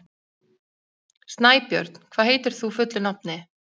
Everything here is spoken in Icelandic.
Snæbjörn, hvað heitir þú fullu nafni?